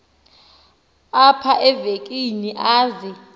apha evekini aze